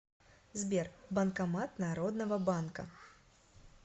сбер банкомат народного банка